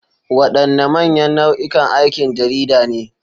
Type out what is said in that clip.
Wadanne manyan nau'ikan aikin jarida ne?